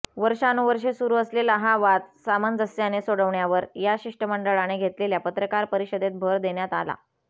वर्षानुवर्षे सुरू असलेला हा वाद सामंजस्याने सोडवण्यावर या शिष्टमंडळाने घेतलेल्या पत्रकार परिषदेत भर देण्यात आला